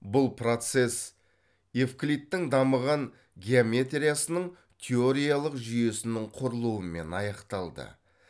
бұл процесс евклидтің дамыған геометриясының теориялық жүйесінің құрылуымен аяқталды